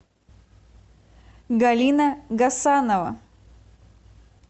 галина гасанова